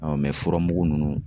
furamugu nunnu